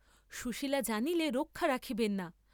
সুশীলা জানিলে রক্ষা রাখিবেন না।